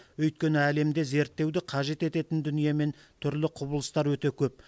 өйткені әлемде зерттеуді қажет ететін дүние мен түрлі құбылыстар өте көп